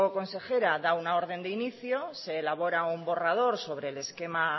consejera da una orden de inicio se elabora un borrador sobre el esquema